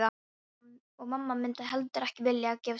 Og mamma myndi heldur ekki vilja að ég gæfist upp.